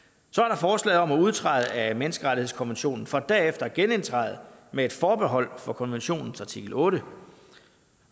så er om at udtræde af menneskerettighedskonventionen for derefter at genindtræde med et forbehold for konventionens artikel ottende